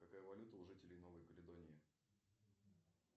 какая валюта у жителей новой каледонии